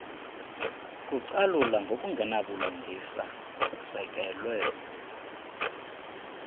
kucalula ngokungenabulungisa kusekelwe